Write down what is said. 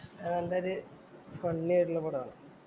നല്ലൊരു ഫണ്ണി ആയിട്ടുള്ള പടമാണ്. എന്നാ? start